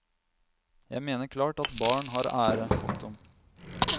Jeg mener klart at barn har ære. punktum